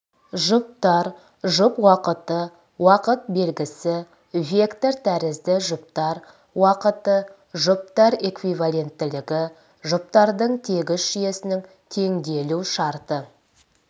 жұптар жұп уақыты уақыт белгісі вектор тәрізді жұптар уақыты жұптар эквивалентілігі жұптардың тегіс жүйесінің теңелу шарты